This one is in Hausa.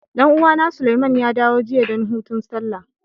Dan uwa na, Suleiman ya dawo jiya dan hutun Sallah.